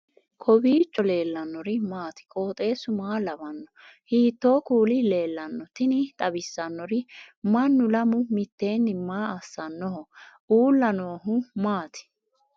kowiicho leellannori maati ? qooxeessu maa lawaanno ? hiitoo kuuli leellanno ? tini xawissannori mannu lamu mitteenni maa assannoho uulla noohu maati